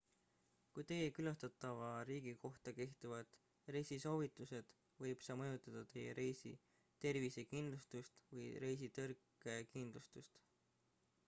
kui teie külastatava riigi kohta kehtivad reisisoovitused võib see mõjutada teie reisi tervisekindlustust või reisitõrkekindlustust